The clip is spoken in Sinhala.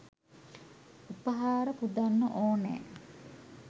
උපහාර පුදන්න ඕනෑ.